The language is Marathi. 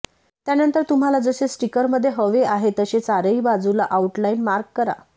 त्यानंतर तुम्हाला जसे स्टिकरमध्ये हवे आहे तसे चारही बाजूला आउटलाइन मार्क करा